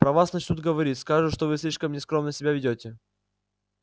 про вас начнут говорить скажут что вы слишком нескромно себя ведёте